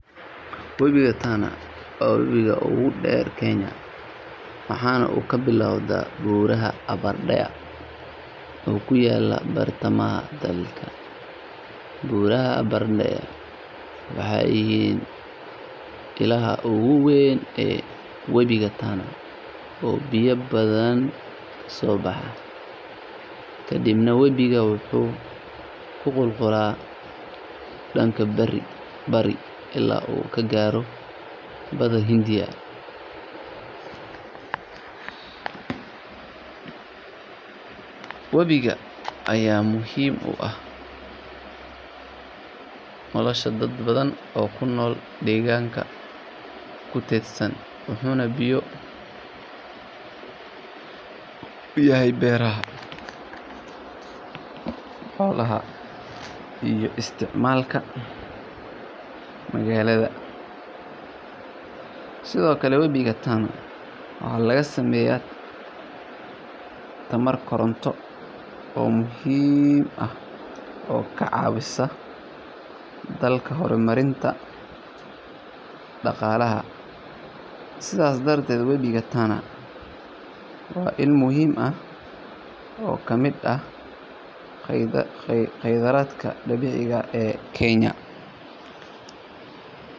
Webiga Tana waa webiga ugu dheer Kenya, waxaana uu ka bilowdaa buuraha Aberdare oo ku yaalla bartamaha dalka. Buuraha Aberdare waxay yihiin ilaha ugu weyn ee webiga Tana oo biyo badan ka soo baxa, kadibna webigu wuxuu ku qulqulaa dhanka bari ilaa uu ka gaaro badda Hindiya. Webigan ayaa muhiim u ah nolosha dad badan oo ku nool deegaanada ku teedsan, wuxuuna biyo u yahay beeraha, xoolaha, iyo isticmaalka magaalada. Sidoo kale, webiga Tana waxaa laga sameeyaa tamar koronto oo muhiim ah oo ka caawisa dalka horumarinta dhaqaalaha. Sidaas darteed, webiga Tana waa il muhiim ah oo ka mid ah khayraadka dabiiciga ah ee Kenya.